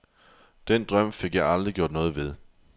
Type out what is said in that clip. Den drøm fik jeg aldrig gjort noget ved.